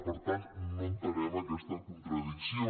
per tant no entenem aquesta contradicció